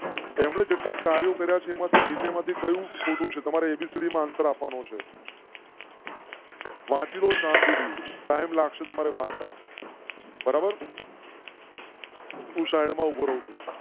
તેમના કાર્યો કર્યા છે માંથી નીચે કહ્યું, ખોટું છે. તમારે ABCD માન સર આપવા નો છે. વાંચી ને શાંતિ થી ટાઇમ લાગશે. તમારે વાંચતા બરાબર. હું સાઇડ માં ઉભો રહું છું